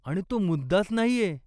आणि तो मुद्दाच नाहीये.